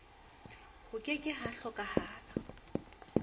ho ke ke ha hlokahala